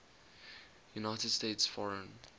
united states foreign